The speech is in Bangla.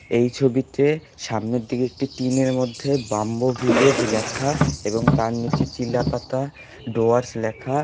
এই ছবিতে সামনের দিকে একটি টিন -এর মধ্যে বাম্বু ভিলেজ লেখা এবং তার নীচে চিলাপাতা ডুয়ার্স লেখা।